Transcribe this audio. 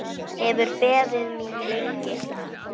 Hefur beðið mín lengi.